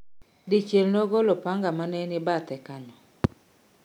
Dichiel nogolo opanga ma neni badhe kanyo